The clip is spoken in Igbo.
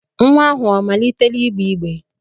Nnwa ahụ omalitela igbe igbe?